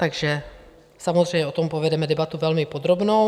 Takže samozřejmě o tom povedeme debatu velmi podrobnou.